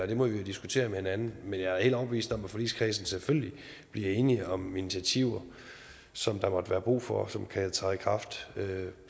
det må vi jo diskutere med hinanden men jeg er helt overbevist om at forligskredsen selvfølgelig bliver enige om de initiativer som der måtte være brug for og som kan træde i kraft